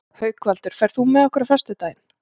Haukvaldur, ferð þú með okkur á föstudaginn?